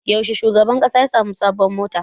Yaushe shugaban ƙasa ya sami sabon mota?